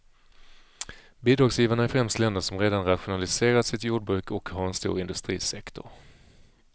Bidragsgivarna är främst länder som redan rationaliserat sitt jordbruk och har en stor industrisektor.